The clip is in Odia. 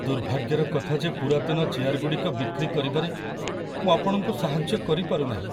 ଦୁର୍ଭାଗ୍ୟର କଥା ଯେ ପୁରାତନ ଚେୟାରଗୁଡ଼ିକ ବିକ୍ରି କରିବାରେ ମୁଁ ଆପଣଙ୍କୁ ସାହାଯ୍ୟ କରିପାରୁନାହିଁ।